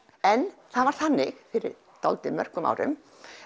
en það var þannig fyrir dálítið mörgum árum